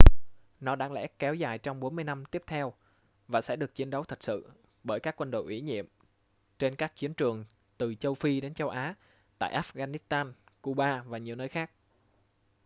nó đáng lẽ kéo dài trong 40 năm tiếp theo và sẽ được chiến đấu thật sự bởi các quân đội ủy nhiệm trên các chiến trường từ châu phi đến châu á tại afghanistan cuba và nhiều nơi khác